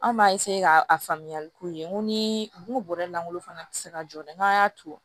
Anw b'a ka faamuyali k'u ye n ko ni bɔrɛ lankolon fana tɛ se ka jɔ dɛ n'a y'a to